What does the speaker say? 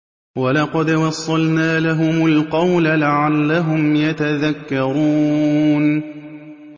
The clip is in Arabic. ۞ وَلَقَدْ وَصَّلْنَا لَهُمُ الْقَوْلَ لَعَلَّهُمْ يَتَذَكَّرُونَ